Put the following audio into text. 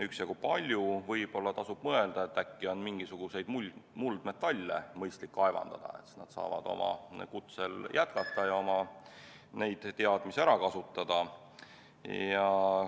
Võib-olla tasub mõelda sellele, et äkki on mõistlik kaevandada mingisuguseid muldmetalle, siis nad saavad oma elukutset jätkata ja oma teadmisi ära kasutada.